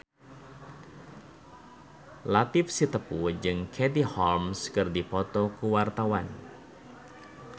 Latief Sitepu jeung Katie Holmes keur dipoto ku wartawan